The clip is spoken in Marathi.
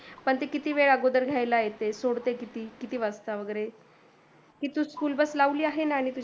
पण ते किती वेळा अगोदर घ्यायला येते सोडते किती वाजता वगैरे